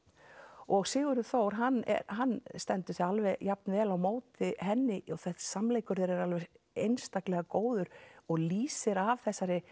og Sigurður Þór hann hann stendur sig alveg jafn vel á móti henni og þessi samleikur þeirra er alveg einstaklega góður og lýsir af